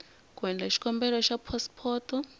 ku endla xikombelo xa phasipoto